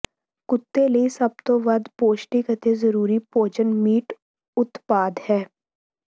ਕੁੱਤੇ ਲਈ ਸਭ ਤੋਂ ਵੱਧ ਪੌਸ਼ਟਿਕ ਅਤੇ ਜ਼ਰੂਰੀ ਭੋਜਨ ਮੀਟ ਉਤਪਾਦ ਹੈ